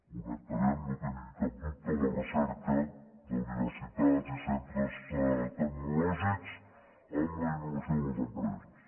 connectarem no en tinguin cap dubte la recerca d’universitats i centres tecnològics amb la innovació a les empreses